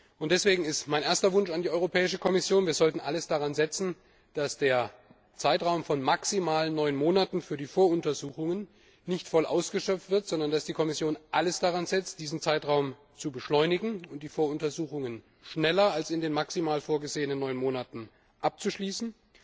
Und deswegen ist mein erster Wunsch an die Europäische Kommission Wir sollten alles daran setzen, dass der Zeitraum von maximal neun Monaten für die Voruntersuchungen nicht voll ausgeschöpft wird, sondern dass die Kommission alles daran setzt, die Voruntersuchungen zu beschleunigen und schneller als in den maximal vorgesehenen neun Monaten abzuschließen.